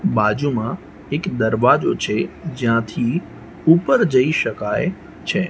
બાજુમાં એક દરવાજો છે જ્યાંથી ઉપર જઈ શકાય છે.